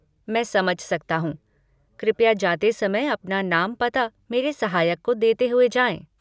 मैं समझ सकता हूँ। कृपया जाते समय अपना नाम पता मेरे सहायक को देते हुए जाएँ।